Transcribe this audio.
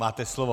Máte slovo.